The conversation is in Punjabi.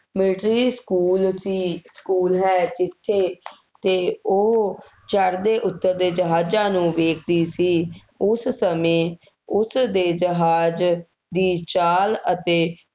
military ਸਕੂਲ ਸੀ, ਸਕੂਲ ਹੈ, ਜਿੱਥੇ, ਜਿੱਥੇ ਉਹ ਚੜ੍ਹਦੇ ਉੱਤਰਦੇ ਜਹਾਜ਼ਾਂ ਨੂੰ ਵੇਖਦੀ ਸੀ, ਉਸ ਸਮੇਂ ਉਸਦੇ ਜਹਾਜ਼ ਦੀ ਚਾਲ ਅਤੇ